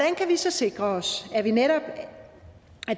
vi så sikre os at det netop